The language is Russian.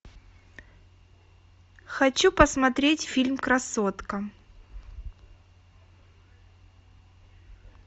хочу посмотреть фильм красотка